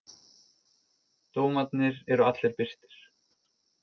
Dómarnir eru allir birtir.